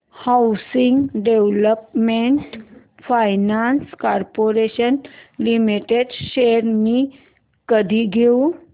housing development finance corporation limited shares मी कधी घेऊ